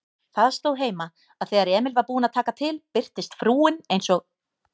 Það stóð heima, að þegar Emil var búinn að taka til birtist frúin eins og